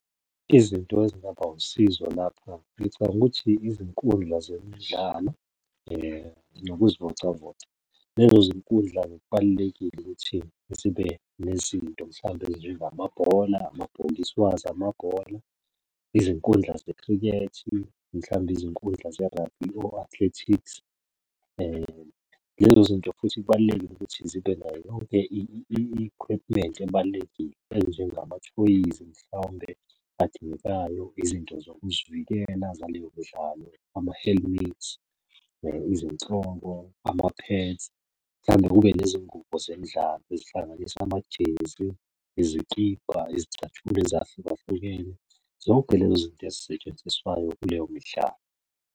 Izinto ezingaba usizo lapha ngicabanga ukuthi izinkundla zemidlalo nokuzivocavoca. Lezo zinkundla kubalulekile ukuthi zibe nezinto mhlawumbe ezinjengamabhola, amabhokisi wazo amabhola, izinkundla zekhrikhethi, Mhlambe izinkundla ze-rugby o-athletics. Lezo zinto futhi kubalulekile ukuthi zibe nayo yonke i-equipment ebalulekile enjengamathoyizi mhlawumbe adingekayo, izinto zokuzivikela zaleyo mdlalo ama-helmets, ama-pads. Mhlambe kube nezingubo zemidlalo ezihlanganisa amajezi, izikibha, izicathulo ezahlukahlukene. Zonke lezo zinto ezisetshenziswayo kuleyo midlalo.